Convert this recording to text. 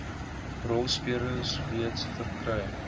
rolspelers reeds verkry